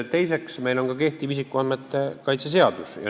Teiseks, meil on ka kehtiv isikuandmete kaitse seadus.